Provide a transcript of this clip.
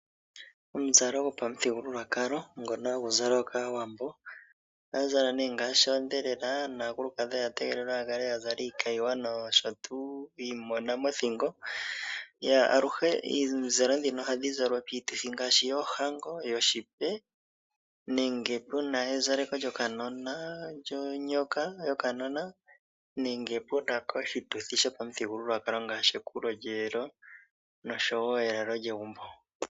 Omuzalo gapa muthigululwakalo ngono hagu zalwa kAawambo. Ohaya zala ne ngashi oondhelela naakulukadhi oya te gelelwa ya kale ya zala iikayiwa noshowo omagwe mothingo. Aluhe omizalo dhino ohadhi zalwa piituthi ngashi oyo hango, oshiipe, nenge puna ezaleko lyokanona lyonyoka nenge puna oshituthi shopamuthigululwakalo ngashi ekulo lyelo noshowo elalo lyegumbo.